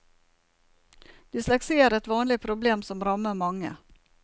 Dysleksi er et vanlig problem, som rammer mange.